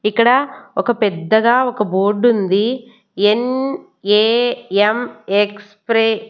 ఇక్కడ ఒక పెద్దగా ఒక బోర్డుంది ఎన్_ఏ_ఎం_ఎక్స్ ప్రే --